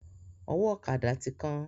Ọwọ́ ọ̀kada ti kán.